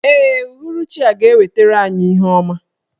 Ee, uhuruchi a ga-ewetara anyị ihe ọma.